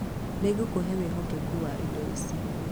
Nĩngũkũhe wĩhokeku wa indo ici.